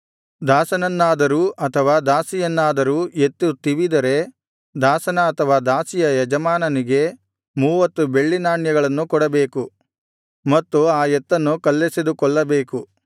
ದಾಸನನ್ನಾದರೂ ಅಥವಾ ದಾಸಿಯನ್ನಾದರೂ ಎತ್ತು ತಿವಿದರೆ ದಾಸನ ಅಥವಾ ದಾಸಿಯ ಯಜಮಾನನಿಗೆ ಮೂವತ್ತು ಬೆಳ್ಳಿನಾಣ್ಯಗಳನ್ನು ಕೊಡಬೇಕು ಮತ್ತು ಆ ಎತ್ತನ್ನು ಕಲ್ಲೆಸೆದು ಕೊಲ್ಲಬೇಕು